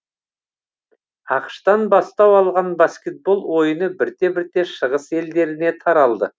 ақш тан бастау алған баскетбол ойыны бірте бірте шығыс елдеріне таралды